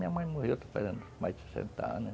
Minha mãe morreu, está fazendo mais de sessenta anos.